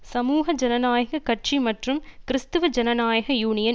சமூக ஜனநாயக கட்சி மற்றும் கிறிஸ்தவ ஜனநாயக யூனியன்